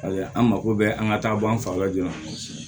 an mako bɛ an ka taa bɔ an fa la joona